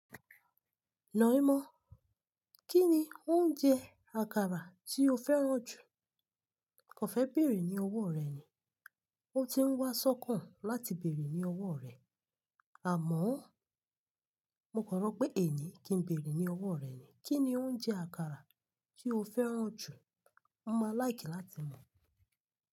"Naímọ̀, kí ni oúnjẹ àkàrà tí o fẹ́ràn jù?" Kàn fẹ́ bèrè ní ọwọ́ rẹ̀ ni. Ó ti ń wá sọ́kàn láti bèrè ní ọwọ́ rẹ̀. Àmọ́, mo kọ ro pé èéni kí n bèrè ní ọwọ́ rẹ̀ ni. "Kí ni oúnjẹ àkàrà tí o fẹ́ràn jù?" Mọ máa láìkí láti mọ̀.